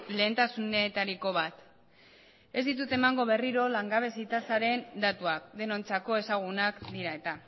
lehentasunetariko bat ez ditut emango berriro langabezi tasaren datuak denontzako ezagunak dira eta